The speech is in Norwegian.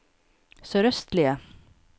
sørøstlige